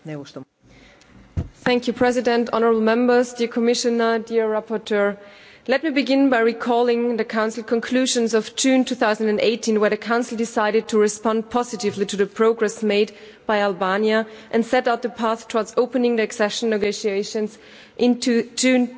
Madam President, honourable Members, dear Commissioner, dear rapporteur, let me begin by recalling the Council conclusions of June 2018, in which the Council decided to respond positively to the progress made by Albania and set out the path towards opening accession negotiations in June